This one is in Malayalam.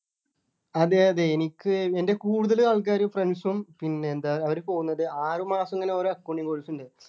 അതെ അതെ എനിക്ക് എൻ്റെ കൂടുതൽ ആൾക്കാര് friends ഉം പിന്നെ എന്താ അവര് പോകുന്നത് ആറുമാസം ഇങ്ങനെ ഓരോ accounting course ഉണ്ട്